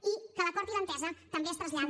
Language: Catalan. i que l’acord i l’entesa també es traslladi